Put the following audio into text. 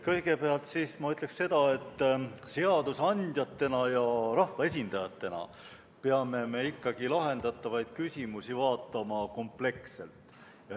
Kõigepealt ma ütlen seda, et seadusandjatena ja rahvaesindajatena peame me ikkagi lahendatavaid küsimusi vaatama kompleksselt.